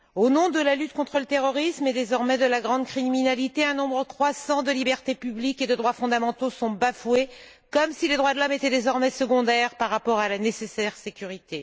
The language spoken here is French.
Au nom de la lutte contre le terrorisme et, désormais, de la grande criminalité, un nombre croissant de libertés publiques et de droits fondamentaux sont bafoués comme si les droits de l'homme étaient désormais secondaires par rapport à la nécessaire sécurité.